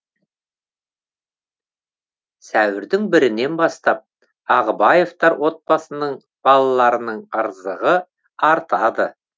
сәуірдің бірінен бастап ағыбаевтар отбасының балаларының ырзығы артады